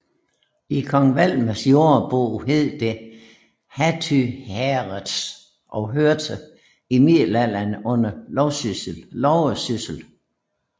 I Kong Valdemars Jordebog hed det Hattynghæreth og hørte i middelalderen under Loversyssel